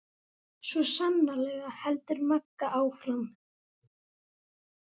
Svo sannarlega, heldur Magga áfram.